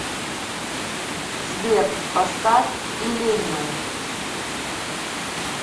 сбер поставь иллениум